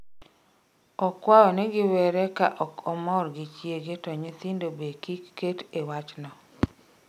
Okwayo ni giwere ka okomor gi chiege to nyithindo be kik ket e wachno